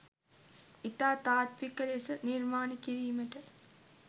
ඉතා තාත්ත්වික ලෙස නිර්මාණය කිරීමට